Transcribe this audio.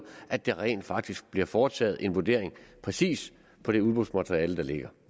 at der rent faktisk bliver foretaget en vurdering præcis på det udbudsmateriale der ligger